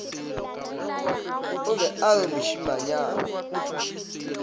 o be a re mošemanyana